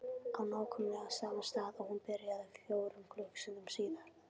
Á nákvæmlega sama stað og hún byrjaði. fjórum klukkustundum síðar.